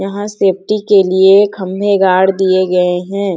यहाँ सेफ्टी के लिए खंबे गाड दिए गये हैं |